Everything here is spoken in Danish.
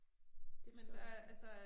Det forstår jeg